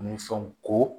Ni fɛnw ko